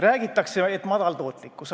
Räägitakse, et madal tootlikkus.